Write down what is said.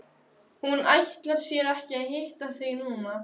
Hún ætlar sér ekki að hitta þig núna.